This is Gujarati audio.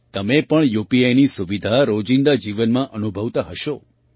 તમે પણ યુપીઆઈની સુવિધા રોજિંદા જીવનમાં અનુભવતા હશો